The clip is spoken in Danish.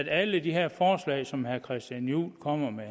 alle de her forslag som herre christian juhl kommer med